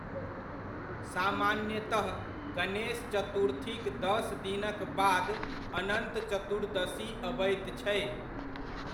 सामान्यतह गणेश चतुर्थीक दस दिनक बाद अनन्त चतुर्दशी अबैत छै।